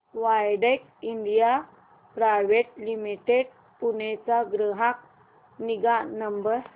Widex India private limited Pune चा ग्राहक निगा नंबर